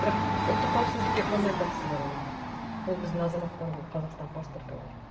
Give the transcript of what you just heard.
бірақ ұлттық қауіпсіздікке қандай қатысы бар оның ол біздің азаматтар ғой қазақстан паспорты бар